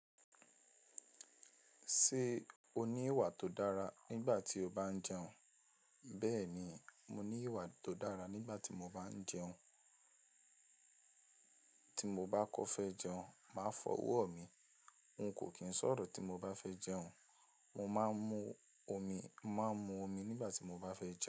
Ṣé o ní ìwà tó dára nígbà tí o bá ń jẹun? Bẹ́ẹ̀ ni, mo ní ìwà tó dára nígbà tí mo bá ń jẹun. Tí mo bá kọ fẹ́ jẹun, màá fọ ọwọ́ mi. N kò kín ṣọ̀rọ̀ tí mo bá fẹ́ jẹun. Mo máa ń mú omi, máa ń mú omi nígbà tí mo bá fẹ́ jẹun.